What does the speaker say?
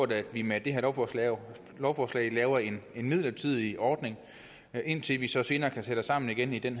at vi med det her lovforslag lovforslag laver en midlertidig ordning indtil vi så senere kan sætte os sammen igen igen